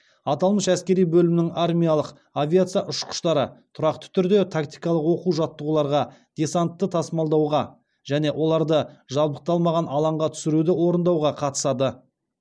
аталмыш әскери бөлімнің армиялық авиация ұшқыштары тұрақты түрде тактикалық оқу жаттығуларға десантты тасымалдауға және оларды жабдықталмаған алаңға түсіруді орындауға қатысады